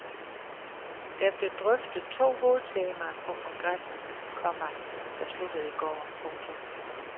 Der blev drøftet to hovedtemaer på kongressen, komma der sluttede i går. punktum